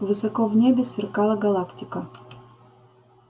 высоко в небе сверкала галактика